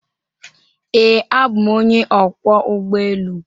Ee, abụ m onye ọkwọ ụgbọ elu.